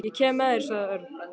Ég kem með þér sagði Örn.